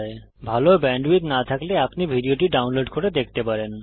যদি ভাল ব্যান্ডউইডথ না থাকে তাহলে আপনি ভিডিওটি ডাউনলোড করে দেখতে পারেন